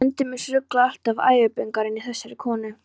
Endemis ruglið alltaf og æðibunugangurinn í þessari konu.